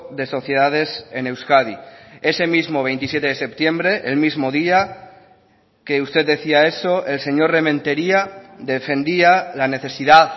de sociedades en euskadi ese mismo veintisiete de septiembre el mismo día que usted decía eso el señor rementeria defendía la necesidad